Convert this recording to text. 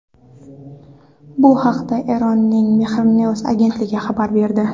Bu haqda Eronning Mehr News agentligi xabar berdi .